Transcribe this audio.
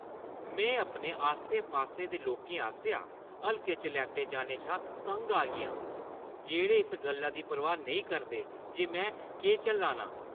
में अपने आस्सै-पास्सै दे लोकें आसेआ हल्के च लैते जाने शा तंग आई गेआं जेह्ड़े इस गल्ला दी परवाह् नेईं करदे जे में केह् झल्ला ना आं।